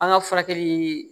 An ka furakɛli